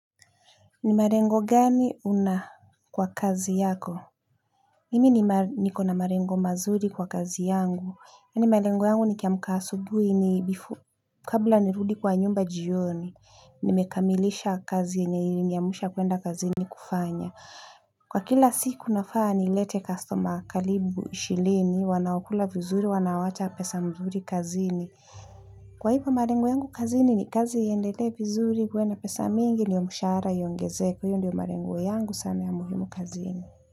Ni malengo gani unayo kwa kazi yako? Mimi nikona malengo mazuri kwa kazi yangu. Mimi malengo yangu nikiamka asubuhi ni kabla nirudi kwa nyumba jioni nimekamilisha kazi yenye iliniamsha kuenda kazini kufanya kwa kila siku nafaa nilete kastoma karibu ishirini wanaokula vizuri wanawacha pesa mzuri kazini kwa hivo malengo yangu kazini ni kazi iendelee vizuri ikuwe na pesa mingi ndio mshahara uongezeke. Hiyo ndio malengo yangu kazini.